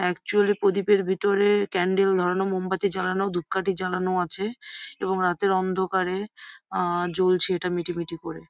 Actually প্রদীপের ভেতরে candle ধরানো মোমবাতি জ্বালানো ধূপকাঠি জ্বালানো আছে এবং রাতের অন্ধকারে আ জ্বলছে ইটা মিটি মিটি করে।